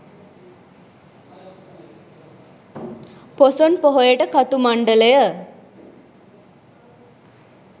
පොසොන් පොහොයට කතු මණ්ඩලය